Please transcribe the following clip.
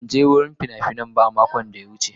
Ban je wurin fina-finai ba a makon da ya wuce.